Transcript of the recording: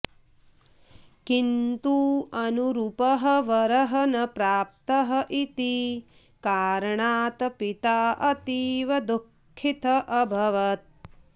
किन्तु अनुरूपः वरः न प्राप्तः इति कारणात् पिता अतीव दुःखितः अभवत्